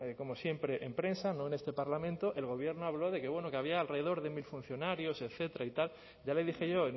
como siempre en prensa no en este parlamento el gobierno habló de que bueno que había alrededor de mil funcionarios etcétera y tal ya le dije yo